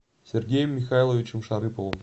сергеем михайловичем шарыповым